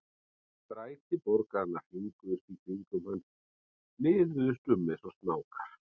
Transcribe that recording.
Stræti borgarinnar hringuðust í kringum hann, liðuðust um eins og snákar.